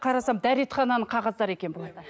қарасам дәретхананың қағаздары екен